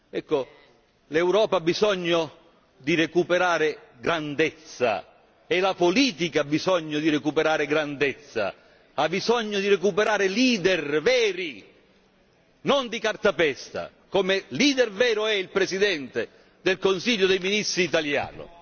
Ecco, l'Europa ha bisogno di recuperare grandezza e la politica ha bisogno di recuperare grandezza, ha bisogno di recuperare leader veri, non di cartapesta, come leader vero è il Presidente del Consiglio dei ministri italiano.